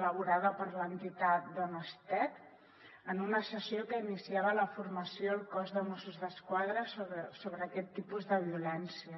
elaborada per l’entitat donestech en una sessió que iniciava la formació al cos de mossos d’esquadra sobre aquest tipus de violències